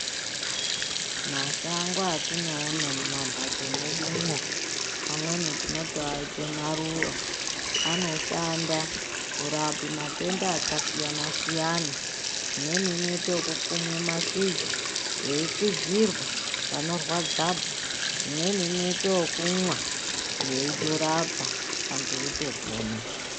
Mashango atinoone mumamhatso medu umo, amweni tinotomaite maruva, anoshanda kurape matenda akasiyana siyana. Imweni inoitwe kukumwa mashizha ,kuyikwidzirwa panorwadzapo. Imweni kuite yekunwa iyitorapa vantu beyitopona.